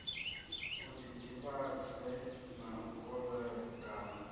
i ḓiḓivhadze na u kovhekana